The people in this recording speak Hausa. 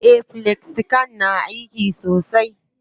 Eh, felxicam na aiki sosai.